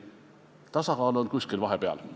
Tasakaal on kuskil vahepeal.